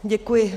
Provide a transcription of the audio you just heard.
Děkuji.